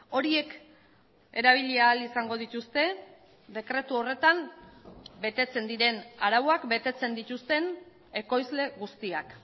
horiek erabili ahal izango dituzte dekretu horretan betetzen diren arauak betetzen dituzten ekoizle guztiak